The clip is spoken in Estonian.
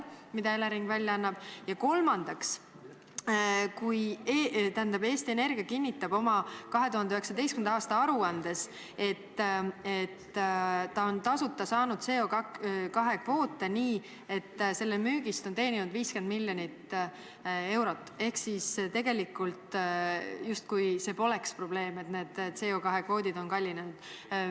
Kolmandaks, Eesti Energia kinnitab oma 2019. aasta aruandes, et ta on tasuta saanud CO2 kvoote, nende müügist on ta teeninud 50 miljonit eurot, ehk tegelikult justkui see poleks probleem, et need CO2 kvoodid on kallinenud.